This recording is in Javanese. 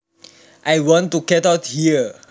I want to get out here